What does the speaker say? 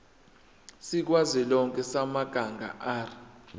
sikazwelonke samabanga r